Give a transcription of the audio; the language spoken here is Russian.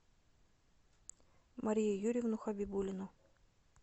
марию юрьевну хабибуллину